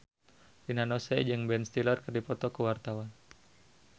Rina Nose jeung Ben Stiller keur dipoto ku wartawan